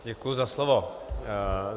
Děkuji za slovo.